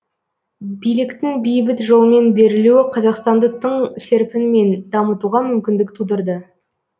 биліктің бейбіт жолмен берілуі қазақстанды тың серпінмен дамытуға мүмкіндік тудырды